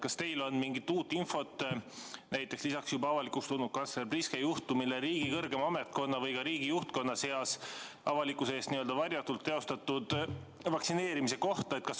Kas teil on mingit uut infot lisaks juba avalikuks tulnud kantsler Priske juhtumile riigi kõrgema ametkonna või ka riigi juhtkonna seas avalikkuse eest varjatult teostatud vaktsineerimise kohta?